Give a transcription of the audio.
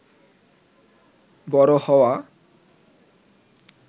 বড় হওয়া